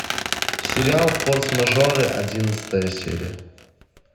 сериал форс мажоры одиннадцатая серия